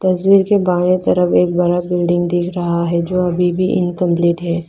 तस्वीर के बाएं तरफ एक बड़ा बिल्डिंग दिख रहा है जो अभी भी इनकंप्लीट है।